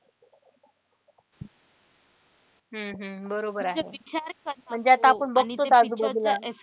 हम्म हम्म बरोबर आहे म्हणजे आता आपण बघतोच आजूबाजूला.